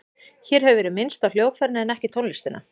Hér hefur verið minnst á hljóðfærin en ekki tónlistina.